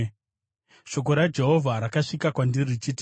Shoko raJehovha rakasvika kwandiri richiti,